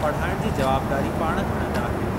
पढ़ाइण जी जवाबदारी पाण खणंदा आहिनि।